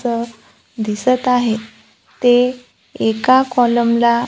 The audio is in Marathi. इथ दिसत आहे ते एका कॉलम ला--